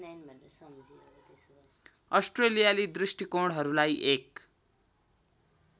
अस्ट्रेलियाली दृष्टिकोणहरूलाई एक